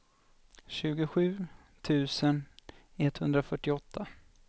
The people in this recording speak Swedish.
tjugosju tusen etthundrafyrtioåtta